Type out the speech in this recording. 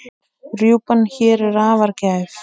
Rjúpan hér er afar gæf.